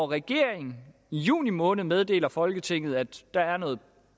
regeringen i juni måned meddeler folketinget at der er noget